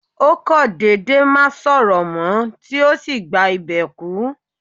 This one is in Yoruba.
Ó kò dédé má sọ̀rọ̀ mó, tí ó sì gba ìbè kú.